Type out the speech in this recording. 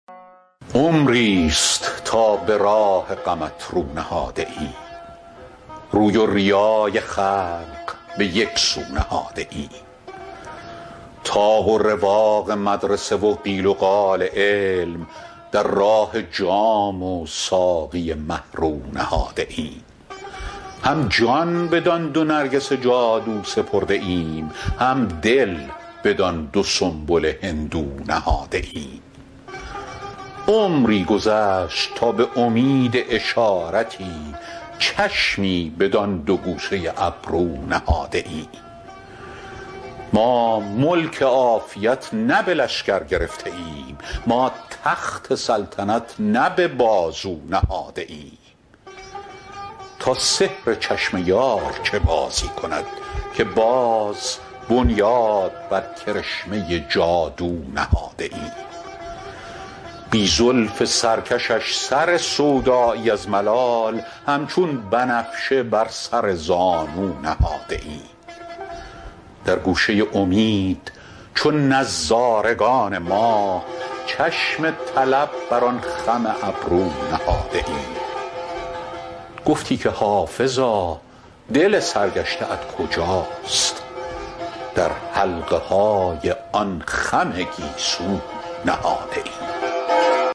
عمریست تا به راه غمت رو نهاده ایم روی و ریای خلق به یک سو نهاده ایم طاق و رواق مدرسه و قال و قیل علم در راه جام و ساقی مه رو نهاده ایم هم جان بدان دو نرگس جادو سپرده ایم هم دل بدان دو سنبل هندو نهاده ایم عمری گذشت تا به امید اشارتی چشمی بدان دو گوشه ابرو نهاده ایم ما ملک عافیت نه به لشکر گرفته ایم ما تخت سلطنت نه به بازو نهاده ایم تا سحر چشم یار چه بازی کند که باز بنیاد بر کرشمه جادو نهاده ایم بی زلف سرکشش سر سودایی از ملال همچون بنفشه بر سر زانو نهاده ایم در گوشه امید چو نظارگان ماه چشم طلب بر آن خم ابرو نهاده ایم گفتی که حافظا دل سرگشته ات کجاست در حلقه های آن خم گیسو نهاده ایم